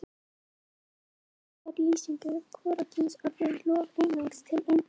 í beygingarlýsingu er hvorugkynsorðið lof einungis til í eintölu